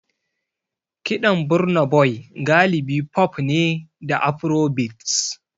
Kiɗan Burna Boy galibi pop ne da Afrobeats.